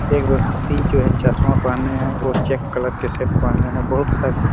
एक व्यक्ति जो है चश्मा पहने है और चेक कलर के शर्ट पहने है बहुत सारी--